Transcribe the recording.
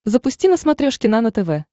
запусти на смотрешке нано тв